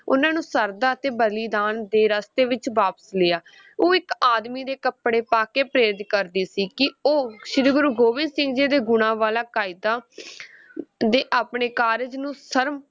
ਉਹਨਾਂ ਨੂੰ ਸ਼ਰਧਾ ਅਤੇ ਬਲੀਦਾਨ ਦੇ ਰਸਤੇ ਵਿੱਚ ਵਾਪਸ ਲਿਆ ਉਹ ਇੱਕ ਆਦਮੀ ਦੇ ਕੱਪੜੇ ਪਾ ਕੇ ਪ੍ਰੇਰਿਤ ਕਰਦੀ ਸੀ, ਕਿ ਉਹ ਸ਼੍ਰੀ ਗੁਰੂ ਗੋਬਿੰਦ ਸਿੰਘ ਜੀ ਦੇ ਗੁਣਾ ਵਾਲਾ ਕਾਇਦਾ ਦੇ ਆਪਣੇ ਕਾਰਜ ਨੂੰ ਸ਼ਰਮ